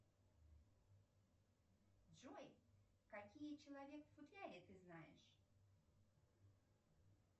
джой какие человек в футляре ты знаешь